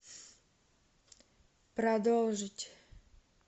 продолжить